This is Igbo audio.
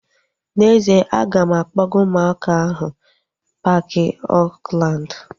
N'ezie, a ga m akpọga ụmụaka ahu paaki Oakland